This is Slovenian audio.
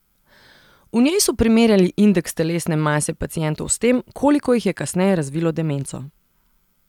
V njej so primerjali indeks telesne mase pacientov s tem, koliko jih je kasneje razvilo demenco.